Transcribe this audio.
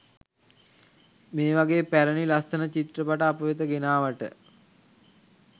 මේ වගේ පැරණි ලස්සන චිත්‍රපට අප වෙත ගෙනාවට.